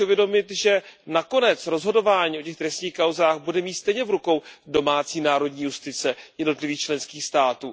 Je třeba si uvědomit, že nakonec rozhodování o těch trestních kauzách bude mít stejně v rukou domácí národní justice jednotlivých členských států.